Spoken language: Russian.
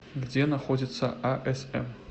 где находится асм